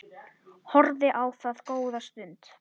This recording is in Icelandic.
Horfði á það góða stund.